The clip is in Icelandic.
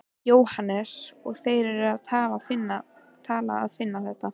Jóhannes: Og þeir eru að finna þetta?